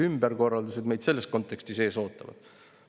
Millised ümberkorraldused meid selles kontekstis ees ootavad?